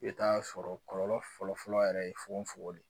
I bɛ t'a sɔrɔ kɔlɔlɔ fɔlɔfɔlɔ yɛrɛ ye fogofogo de